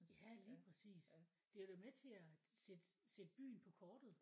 Ja lige præcis det er da med til at sætte sætte byen på kortet